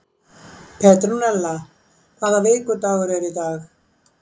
Petrúnella, hvaða vikudagur er í dag?